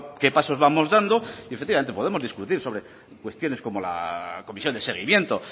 qué pasos vamos dando y efectivamente podemos discutir sobre cuestiones como la comisión de seguimiento